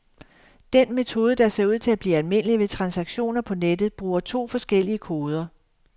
Den metode, der ser ud til blive almindelig ved transaktioner på nettet, bruger to forskellige koder.